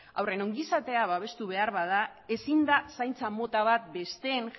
haurren ongizatea babestu behar bada ezin da zaintza mota bat besteen